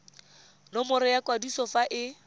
nomoro ya kwadiso fa e